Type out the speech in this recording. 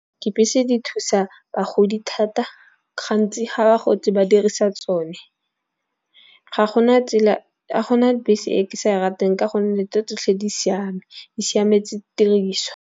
Dibese di thusa bagodi thata gantsi ga ba gotse ba dirisa tsone. Ga gona bese e ke sa di rateng ka gonne tse tsotlhe di siame di siametse tiriswa.